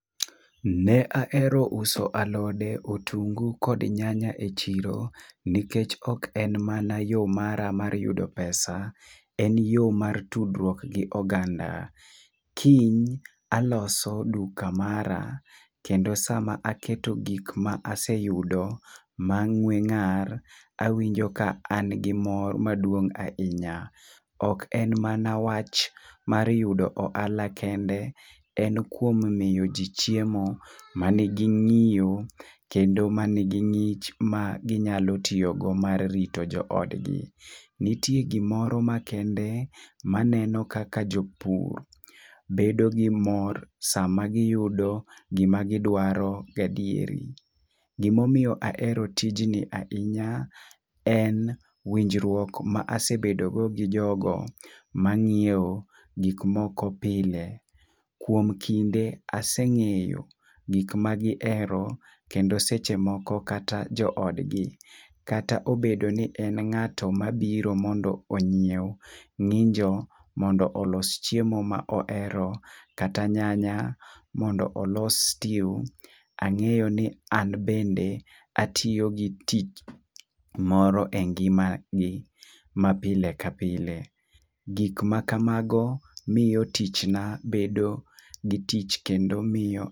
Ne ahero uso alode, otungu kod nyanya e chiro, nikech ok en mana yoo mara mar yudo pesa, en yoo mar tudruok gi oganda . Kiny aloso duka mara kendo sama aketo gik ma aseyudo mang'we ng'ar awinjo ka an gi mor maduong ahinya. Ok en mana wach mar yudo ohala kende en kuom miyo jii chiemo manigi ng'iyo kendo manigi ng'ich maginyalo tiyo go mar rito joodgi. Nitie gimoro makende maneno kaka jopur bedo gi mor sama giyudo gima gidwaro gadieri. Gimomiyo ahero tijni ahinya en winjruok ma asebedo go gi jogo mang'iewo gik moko pile. Kuom kinde, aseng'eyo gik ma gihero kendo seche moko kata joodgi kata obedo ni en ng'ato mabiro mondo onyiew ng'injo mondo olos chiemo mohero kata nyanya mondo olos stew, ang'eyo ni an bende atiyo gi tich moro e ngima ni ma pile ka pile. Gik ma kamago miyo tich na bedo gi tich kendo miyo